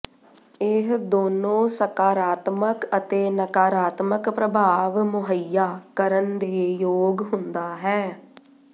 ਇਹ ਦੋਨੋ ਸਕਾਰਾਤਮਕ ਅਤੇ ਨਕਾਰਾਤਮਕ ਪ੍ਰਭਾਵ ਮੁਹੱਈਆ ਕਰਨ ਦੇ ਯੋਗ ਹੁੰਦਾ ਹੈ